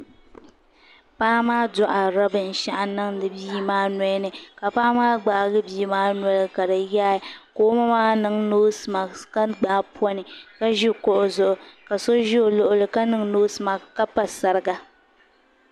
paɣa maa dohiri'a binshɛɣʋ n niŋdi bia maa nolini kapaɣ maa gbaaigi bia maa noli kadi yaagi koŋ ma maa niŋ nosi maki ka gbaai poni ka ʒi kuɣ zuɣu ka so ʒi o liɣili zuɣu ka niŋ nosi maki ka pa sariga